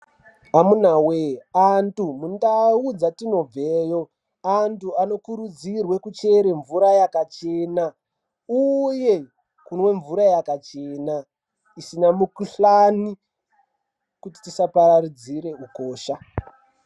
Amuna voye antu mundau dzatinobveyo antu anokurudzirwe kuchere mvura yakachena, uye kunwe mvura yakachena zvisina mikuhlani kuti tisaparadzira ukosha.